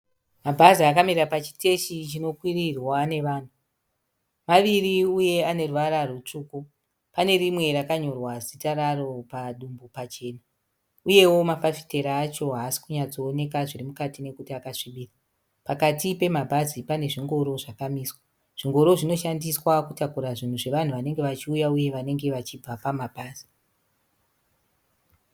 Mabhazi akamira pachiteshi chinokwirirwa nevanhu. Maviri uye ane ruvara rutsvuku. Pane rimwe rakanyorwa zita raro padumbu pachena. Uyewo mafafitera acho haasi kunyatsoonekwa zviri mukati nekuti akasvibira. Pakati pemabhazi pane zvingoro zvakamiswa. Zvingoro zvinoshandiswa kutakura zvinhu zvevanhu vanenge vachiuya uye vanenge vachibva pamabhazi.